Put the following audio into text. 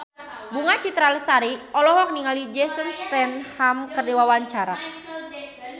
Bunga Citra Lestari olohok ningali Jason Statham keur diwawancara